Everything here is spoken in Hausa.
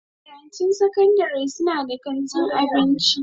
Makarantun sakandare suna da kantin abinci.